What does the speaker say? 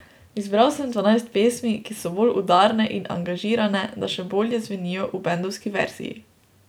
Izbral sem dvanajst pesmi, ki so bolj udarne in angažirane, da še bolje zvenijo v bendovski verziji.